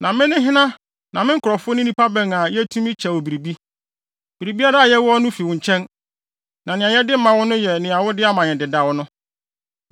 “Na me ne hena na me nkurɔfo ne nnipa bɛn a yetumi kyɛ wo biribi? Biribiara a yɛwɔ no fi wo nkyɛn, na nea yɛde ma wo no yɛ nea wode ama yɛn dedaw no.